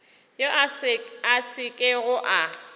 yo a sa kego a